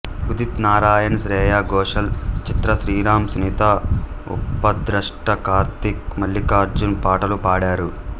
ఉదిత్ నారాయణ్ శ్రేయా ఘోషాల్ చిత్ర శ్రీరాం సునీత ఉపద్రష్ట కార్తీక్ మల్లికార్జున్ పాటలు పాడారు